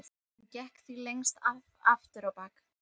Hann gekk því lengst af aftur á bak.